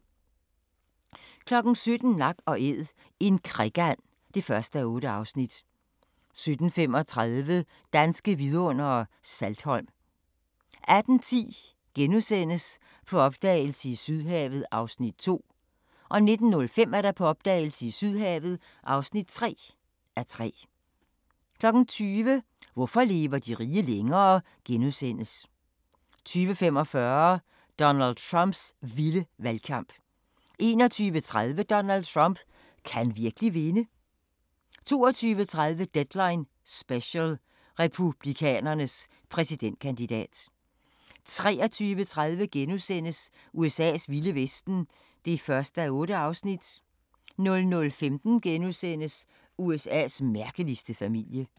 17:00: Nak & æd - en krikand (1:8) 17:35: Danske Vidundere: Saltholm 18:10: På opdagelse i Sydhavet (2:3)* 19:05: På opdagelse i Sydhavet (3:3) 20:00: Hvorfor lever de rige længere? * 20:45: Donald Trumps vilde valgkamp 21:30: Donald Trump – kan han virkelig vinde? 22:30: Deadline Special – Republikanernes præsidentkandidat 23:30: USA's vilde vesten (1:8)* 00:15: USA's mærkeligste familie *